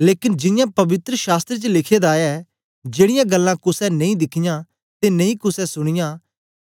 लेकन जियां पवित्र शास्त्र च लिखे दा ऐ जेड़ीयां गल्लां कुसे नेई दिखयां ते नेई कुसे सुनयां